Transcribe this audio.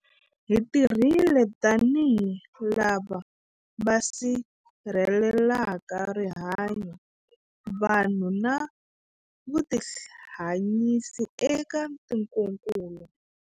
Hi tirhile tanihi lava va sirhelelaka rihanyu, vanhu na vutihanyisi eka tikokulu.